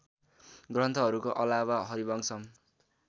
ग्रन्थहरूको अलावा हरिवंशम